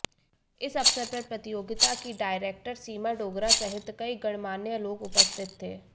इस अवसर पर प्रतियोगिता की डायरेक्टर सीमा डोगरा सहित कई गणमान्य लोग उपस्थित थे